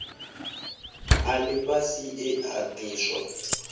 a lifhasi e a diswa